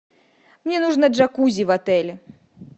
мне нужно джакузи в отеле